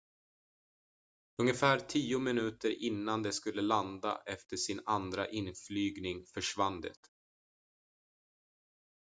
ungefär tio minuter innan det skulle landa efter sin andra inflygning försvann det